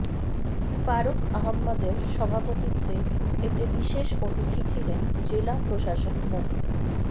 ফারুক আহম্মদের সভাপতিত্বে এতে বিশেষ অতিথি ছিলেন জেলা প্রশাসক মো